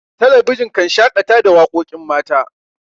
talabijin kan shakata da waƙoƙin mata